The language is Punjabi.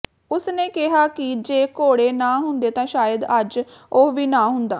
ਉਸ ਨੇ ਕਿਹਾ ਕਿ ਜੇ ਘੋੜੇ ਨਾ ਹੁੰਦੇ ਤਾਂ ਸ਼ਾਇਦ ਅੱਜ ਉਹ ਵੀ ਨਾ ਹੁੰਦਾ